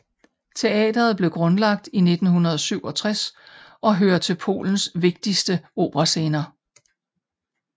Teateret blev grundlagt i 1967 og hører til Polens vigtigste operascener